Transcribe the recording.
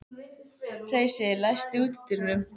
Heisi, læstu útidyrunum.